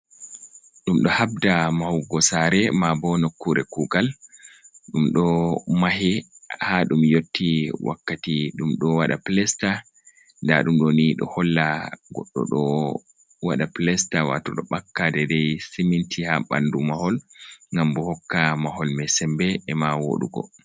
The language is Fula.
Ɗum ɗo habda mahugo saare, maabo nokkuure kuugal ɗum ɗo mahe, haa ɗum yotti wakkati ɗum ɗo waɗa pilesta. Ndaa ɗum ɗo ni, ɗo holla goɗɗo ɗo waɗa pilesta, waato ɗo ɓakka deydey siminti, haa ɓanndu mahol ngam bo, hokka mahol may sembe ema wooɗugo.